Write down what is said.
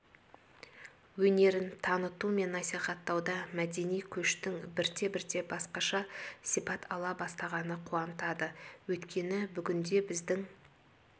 өнерін таныту мен насихаттауда мәдени көштің бірте-бірте басқаша сипат ала бастағаны қуантады өйткені бүгінде біздің